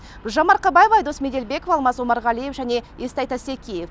гүлжан марқабаева айдос меделбеков алмас омарғалиев және естай тастекеев